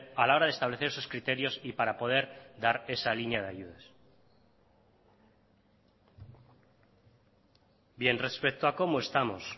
a la hora de establecer esos criterios y para poder dar esa línea de ayudas bien respecto a cómo estamos